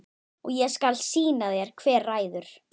Og ég skal sýna þér hver ræður.